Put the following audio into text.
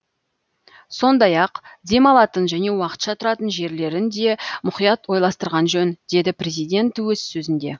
сондай ақ дем алатын және уақытша тұратын жерлерін де мұқият ойластырған жөн деді президент өз сөзінде